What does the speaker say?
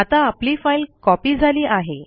आता आपली file copy झाली आहे